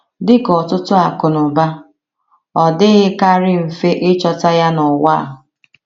Dị ka ọtụtụ akụnụba, ọ dịghịkarị mfe ịchọta ya n’ụwa a.